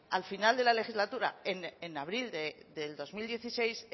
al final de la legislatura en abril del dos mil dieciséis